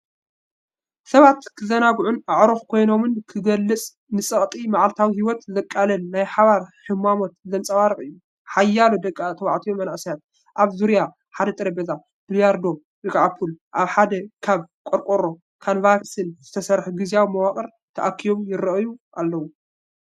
ሰባት ክዘናግዑን ኣዕሩኽ ኮይኖምን ዝገልጽ ፣ ንጸቕጢ መዓልታዊ ህይወት ዘቃልል ናይ ሓባር ህሞታት ዘንጸባርቕ እዩ። ሓያሎ ደቂ ተባዕትዮን መንእሰያትን ኣብ ዙርያ ሓደ ጠረጴዛ ቢልያርዶ (ፑል) ኣብ ሓደ ካብ ቆርቆሮን ካንቫስን ዝተሰርሐ ግዝያዊ መዋቕር ተኣኪቦም ይራኣዩ ኣለው።